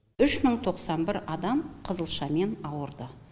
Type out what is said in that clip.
үш мың тоқсан бір адам қызылшамен ауырды